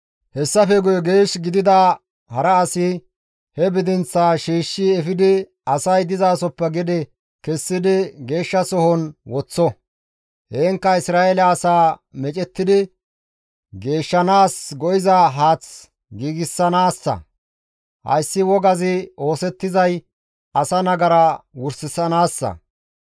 «Hessafe guye geesh gidida hara asi he bidinththaa shiishshi efidi asay dizasoppe gede kessidi geeshshasohon woththo; heenkka Isra7eele asay meecettidi geeyanaas go7iza haath giigsanaassa; hayssi wogazi oosettizay asa nagara wursanaassa.